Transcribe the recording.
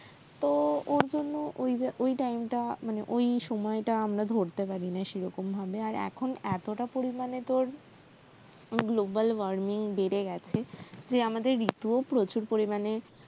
তো ওর জন্য ওই ওই time টা মানে ওই সময়টা আমরা ধরতে পারিনা সেরকম ভাবে আর এখন এতটা পরিমানে global warming বেড়ে গেছে যে আমাদের ঋতুও প্রচুর পরিমানে